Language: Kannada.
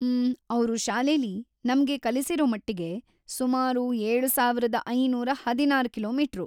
ಮ್ಮ್‌, ಅವ್ರು ಶಾಲೆಲೀ ನಮ್ಗೆ ಕಲಿಸಿರೋ ಮಟ್ಟಿಗೆ , ಸುಮಾರ್‌ ಏಳು ಸಾವಿರದ ಐನೂರ ಹದಿನಾರು ಕಿಲೋ. ಮೀಟರು?